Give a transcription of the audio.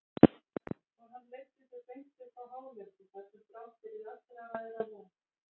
Og hann leiddi þau beint upp á hálendið þar sem brátt yrði allra veðra von.